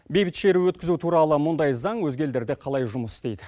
бейбіт шеру өткізу туралы мұндай заң өзге елдерде қалай жұмыс істейді